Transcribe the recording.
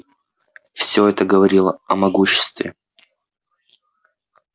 всё это говорило о могуществе